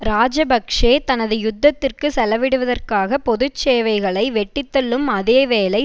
இராஜபக்ஷ தனது யுத்தத்திற்கு செலவிடுவதற்காக பொது சேவைகளை வெட்டித்தள்ளும் அதே வேளை